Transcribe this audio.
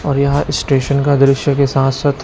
और यहां स्टेशन का दृश्य के साथ साथ--